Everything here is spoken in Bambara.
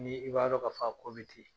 Ni i b'a dɔn k'a fɔ a ko bɛ ten.